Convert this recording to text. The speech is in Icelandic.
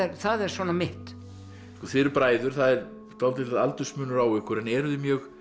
það er svona mitt þið eruð bræður það er dálítill aldursmunur á ykkur en eruð þið mjög